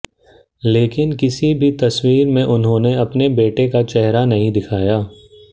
लेकिन किसी भी तस्वीर में उन्होंने अपने बेटे का चेहरा नहीं दिखाया